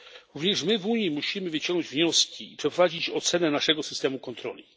Również my w Unii musimy wyciągnąć wnioski i przeprowadzić ocenę naszego systemu kontroli.